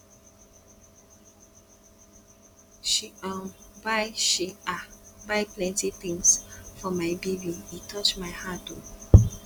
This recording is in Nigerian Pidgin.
she um buy she um buy plenty tins for my baby e touch my heart o